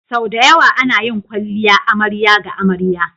Sau da yawa ana yin kwalliya amarya ga amarya.